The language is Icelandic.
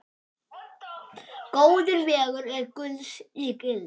Góður vegur er gulls ígildi.